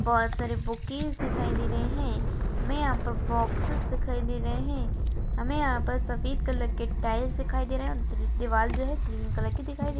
बहुत सारे बुकीज दिखाई दे रहे हैं हमे यहाँ पर बॉक्सेस दिखाई दे रहे हैं हमे यहाँ पे सफ़ेद कलर के टाइल्स दिखाई दे रहा हैं और दिवार जो है ग्रीन कलर की दिखाई दे रही हैं।